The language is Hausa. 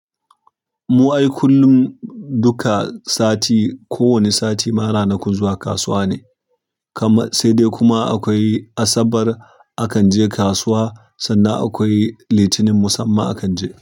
Mu ai kullum duka sati, ko wani sati ma ranakun zuwa kasuwa ne. Sai dai kuma akwai Asabar akan je kasuwa, sannan akwai Litinin musamman akan je.